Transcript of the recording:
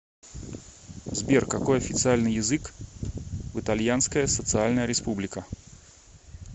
сбер какой официальный язык в итальянская социальная республика